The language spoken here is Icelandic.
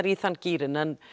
í þann gírinn en